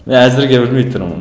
і әзірге білмей тұрмын